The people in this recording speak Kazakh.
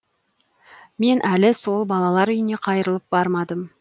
мен әлі сол балалар үйіне қайрылып бармадым